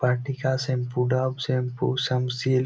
Vatika shampoo Dove shampoo Sunsilk --